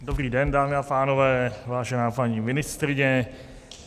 Dobrý den, dámy a pánové, vážená paní ministryně.